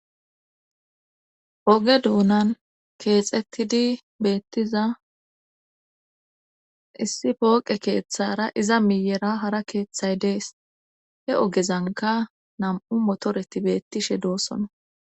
oge duunan keexettidi beettiza issi pooqe keeththara iza miyera hara keeththay dees he ogezanka nam7u motoreti beettishe doossona